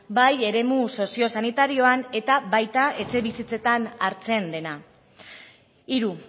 bai eremu sozio sanitarioan eta baita etxebizitzetan hartzen dena hiru